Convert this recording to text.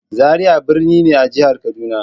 Zaria birni ne a jihar Kaduna.